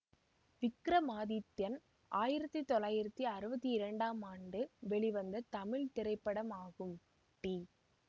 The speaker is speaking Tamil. விக்ரமாதித்தின் ஆயிரத்தி தொள்ளாயிரத்தி அறுபத்தி இரண்டாம் ஆண்டு வெளிவந்த தமிழ் திரைப்படமாகும் டி